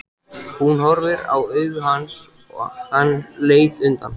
Hún horfði í augu hans en hann leit undan.